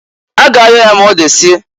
A ga ayọ ya ma odesie.